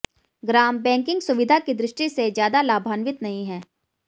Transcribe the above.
ग्राम banking सुविधा की दृष्टि से ज्यादा लाभान्वित नहीं है